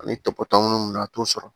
Ani tɔpɔtɔ munnu na a t'o sɔrɔ